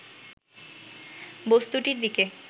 বস্তুটির দিকে